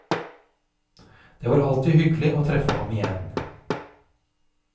Det var alltid hyggelig å treffe ham igjen.